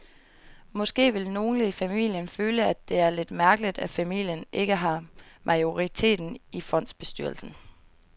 Måske vil nogle i familien føle, at det er lidt mærkeligt, at familien ikke har majoriteten i fondsbestyrelsen.